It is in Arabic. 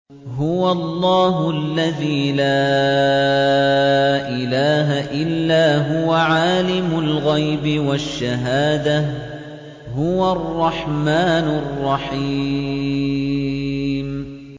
هُوَ اللَّهُ الَّذِي لَا إِلَٰهَ إِلَّا هُوَ ۖ عَالِمُ الْغَيْبِ وَالشَّهَادَةِ ۖ هُوَ الرَّحْمَٰنُ الرَّحِيمُ